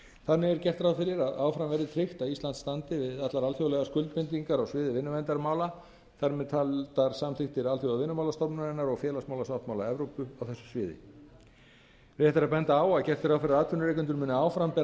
þannig er gert ráð fyrir að áfram verði tryggt að ísland standi við allar alþjóðlegar skuldbindingar á sviði vinnuverndarmála þar með talin samþykktir alþjóðavinnumálastofnunarinnar og félagsmálasáttmála evrópu á þessu sviði rétt er að benda á að gert er ráð fyrir að atvinnurekendur muni áfram bera